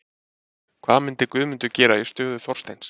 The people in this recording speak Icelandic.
Hvað myndi Guðmundur gera í stöðu Þorsteins?